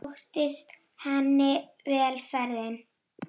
Sóttist henni vel ferðin.